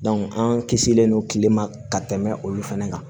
an kisilen don kile ma ka tɛmɛ olu fɛnɛ kan